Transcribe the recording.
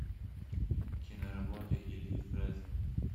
киноработы ильи фрэза